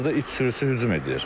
Burda it sürüsü hücum edir.